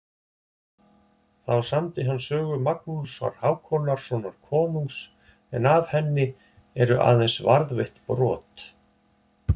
Þá samdi hann sögu Magnúsar Hákonarsonar konungs en af henni eru aðeins varðveitt brot.